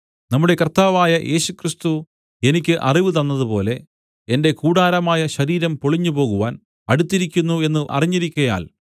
നമ്മുടെ കർത്താവായ യേശുക്രിസ്തു എനിക്ക് അറിവു തന്നതുപോലെ എന്റെ കൂടാരമായ ശരീരം പൊളിഞ്ഞുപോകുവാൻ അടുത്തിരിക്കുന്നു എന്ന് അറിഞ്ഞിരിക്കയാൽ